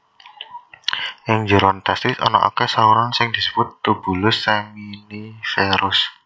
Ing njeron testis ana akèh saluran sing disebut tubulus seminiferus